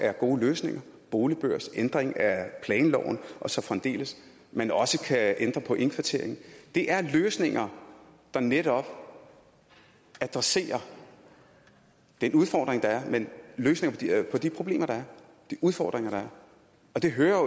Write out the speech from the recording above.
er gode løsninger boligbørs ændring af planloven og så fremdeles at man også kan ændre på indkvartering det er løsninger der netop adresserer den udfordring der er løsninger på de problemer der er de udfordringer der er og det hører